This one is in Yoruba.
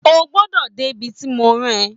O gbọ́dọ̀ dé bi tí mo rán ẹ